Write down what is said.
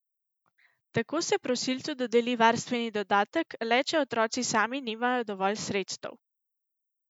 Tako se prosilcu dodeli varstveni dodatek le če otroci sami nimajo dovolj sredstev.